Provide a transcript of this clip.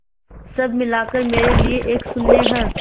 सब मिलाकर मेरे लिए एक शून्य है